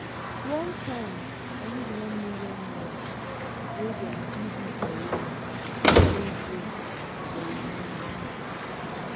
one time i use 1 million naira wey dem give me for rent play game but e no enter.